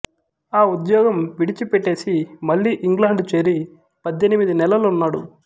ఆ ఉద్యోగం విడిచిపెట్టేసి మళ్లీ ఇంగ్లండు చేరి పద్దెనిమిది నెలలున్నాడు